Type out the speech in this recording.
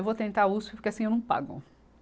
Eu vou tentar a Uspe porque assim eu não pago.